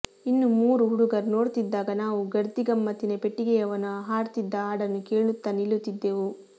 ಇನ್ನು ಮೂರು ಹುಡುಗರು ನೋಡ್ತಿದ್ದಾಗ ನಾವು ಗರ್ದಿ ಗಮ್ಮತ್ತಿನ ಪೆಟ್ಟಿಗೆಯವನು ಹಾಡ್ತಿದ್ದ ಹಾಡನ್ನು ಕೇಳುತ್ತಾ ನಿಲ್ಲುತ್ತಿದ್ದೆವು